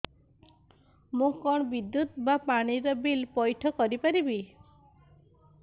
ମୁ କଣ ବିଦ୍ୟୁତ ବା ପାଣି ର ବିଲ ପଇଠ କରି ପାରିବି